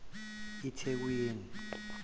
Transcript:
ithekwini